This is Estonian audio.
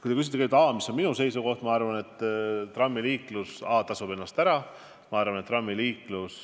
Kui te küsite, mis on minu seisukoht, siis a) ma arvan, et trammiliiklus tasub ennast ära, ja b) ma arvan, et trammiliiklus